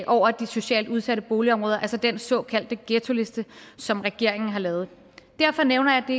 over de socialt udsatte boligområder altså den såkaldte ghettoliste som regeringen har lavet derfor nævner